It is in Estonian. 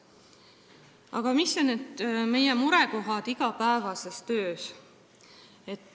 Aga mis on murekohad meie igapäevases töös?